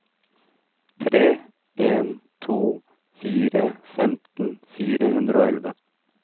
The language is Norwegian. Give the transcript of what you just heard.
tre en to fire femten fire hundre og elleve